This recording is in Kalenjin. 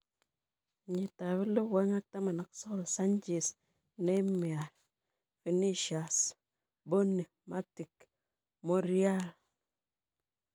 2019: Sanchez, Neymar, Vinicius Jr,Bony, Matic, Monreal